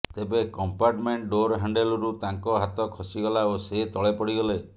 ତେବେ compartment door ହ୍ୟାଣ୍ଡଲରୁ ତାଙ୍କ ହାତ ଖସିଗଲା ଓ ସେ ତଳେ ପଡ଼ିଗଲେ